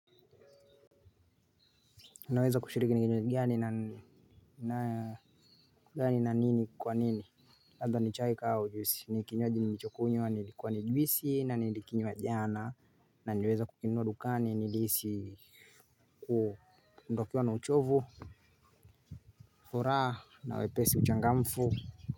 Naweza kushiriki kinywaji gani na kwa nini? Labda ni chai, kahawa au juisi. Ni kinywaji nilichokunywa ilikuwa ni juisi na ni nilikinywa jana na nliiweza kukinunua dukani nilihisi kuondokewa na uchovu, furaha na wepesi, uchangamfu.